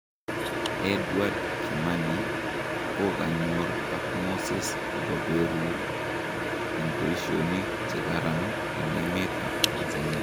Edward kimani kokanyor ak Moses akoperur en paishonik che karan en emet ap tanzania